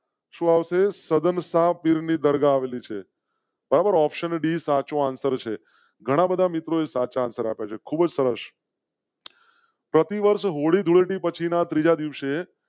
પાસે સઘન શાહ પીરની દરગાહ આવેલી છે. ઓપ્શન d સાચો answer છે ઘણા બધા મિત્રો સાથે ખૂબ સરસ. પ્રતિ વર્ષ હોળી ધુળેટી પછી ના ત્રીજા દિવસે